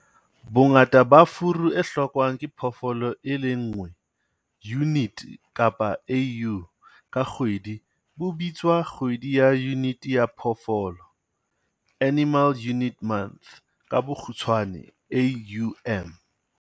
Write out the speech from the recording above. Bongata ba furu e hlokwang ke phoofolo e le nngwe, unit kapa AU, ka kgwedi bo bitswa Kgwedi ya Yunite ya Phoofolo, Animal Unit Month, AUM.